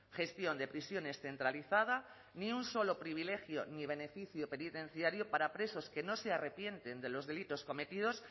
gestión de prisiones centralizada ni un solo privilegio ni beneficio penitenciario para presos que no se arrepienten de los delitos cometidos